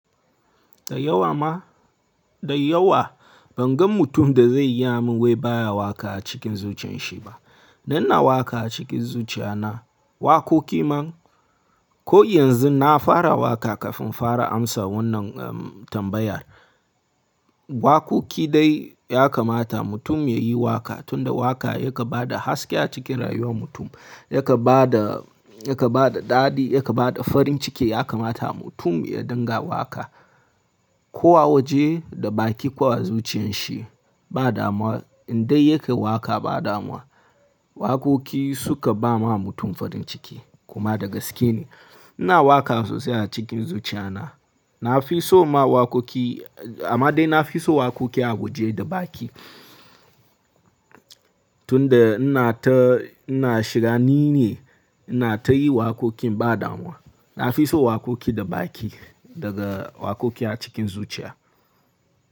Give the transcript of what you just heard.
Da yawa ma, da yawa ban gan mutum da zai gaya min wai baya waƙa a cikin zuciyan shi ba. Dan ina waƙa a cikin zuciya na. Waƙoƙi man, ko yanzu na fara waƙa kafin in fara amsa wannan tambayar. Waƙoƙi dai yakamata mutum yayi waƙa tunda waƙa ya kan ba da haske a cikin rayuwar mutum. Ya kan ba da, ya kan ba da daɗi, ya kan ba da farin ciki. Yakamata mutum ya dinga waƙa. Ko a waje, da baki, ko a zuciyan shi, ba damuwa in dai yake waƙa ba damuwa. Waƙoƙi suka ba ma mutum farin ciki kuma da gaske ne. Ina waƙa sosai a cikin zuciya na. Nafi son ma waƙoƙi amma dai nafi son waƙoƙi a waje da baki. Tunda ina ta, ina shiga nini ina ta yi waƙoƙin ba damuwa. Nafi son waƙoƙi da baki daga waƙoƙi a cikin zuciya.